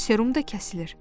Serum da kəsilir.